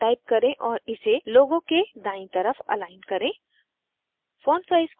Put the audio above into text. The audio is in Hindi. spoken tutorial type करें और इसे logo के दायीं तरफ अलाइन करें